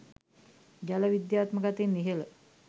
ජල විද්‍යාත්මක අතින් ඉහළ